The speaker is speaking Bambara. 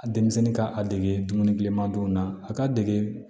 A denmisɛnnin ka a dege dumuni ma don na a ka dege